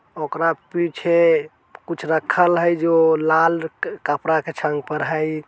ओकरा पीछे कुछ रखल हई जो लाल क-कपड़ा के पर हई।